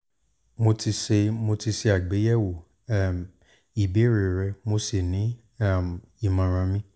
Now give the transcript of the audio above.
mo ti ṣe mo ti ṣe àgbéyẹ̀wò um ìbéèrè rẹ mo sì ní um ìmọ̀ràn mi